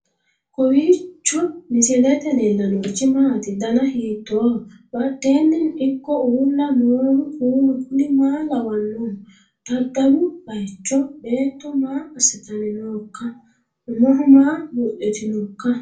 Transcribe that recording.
kowiicho misilete leellanorichi maati ? dana hiittooho ?badhhenni ikko uulla noohu kuulu kuni maa lawannoho? daddalu baycho beetto maa assitanni nooikka umoho maa buudhitinoikka